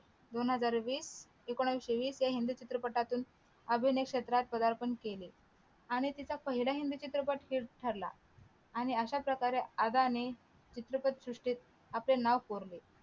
दोन हजार वीस एकोणविशे वीस या हिंदी चित्रपटातून अभिनय क्षेत्रात पदार्पण केले आणि तिचा पहिला हिंदी चित्रपट हिट ठरला आणि अश्याप्रकारे आदाने चित्रपटसृष्टीत आपले नाव कोरले